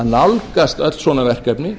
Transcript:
að nálgast öll svona verkefni